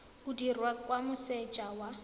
o dirwa kwa moseja wa